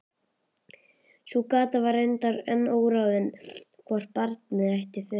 Sú gáta var reyndar enn óráðin hvort barnið ætti föður.